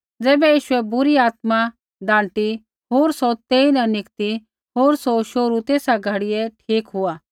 तैबै यीशुऐ बुरी आत्मा डाँटी होर सौ तेइन निकती होर सौ शोहरू तेसा घड़ियै ठीक हुआ